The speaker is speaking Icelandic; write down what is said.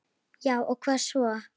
Já og hvað svo!